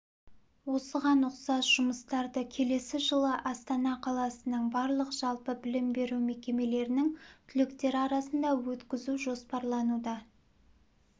осыған ұқсас жұмыстарды келесі жылы астана қаласының барлық жалпы білім беру мекемелерінің түлектері арасында өткізу жоспарлануда